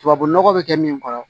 Tubabu nɔgɔ bɛ kɛ min kɔrɔ